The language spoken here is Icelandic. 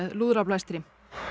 lúðrablæstri